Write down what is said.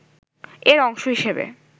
এর অংশ হিসেবে